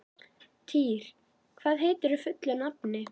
Týr, hvað heitir þú fullu nafni?